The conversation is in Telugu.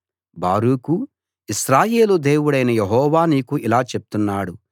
బారూకు ఇశ్రాయేలు దేవుడైన యెహోవా నీకు ఇలా చెప్తున్నాడు